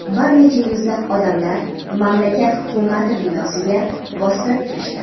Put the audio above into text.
bir necha yuzlab odamlar mamlakat Hukumati binosiga bostirib kirishdi.